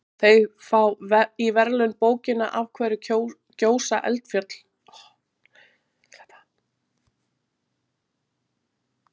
Þeir fá í verðlaun bókina Af hverju gjósa eldfjöll?